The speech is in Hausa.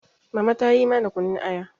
mama ta yi mana kunun Aya